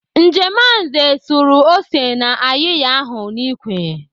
Njemanze suru ose na ayịya ahụ n'ikwe.